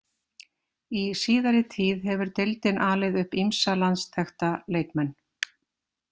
Í síðari tíð hefur deildin alið upp ýmsa landsþekkta leikmenn.